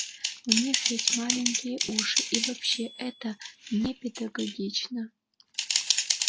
у них ведь маленькие уши и вообще это непедагогично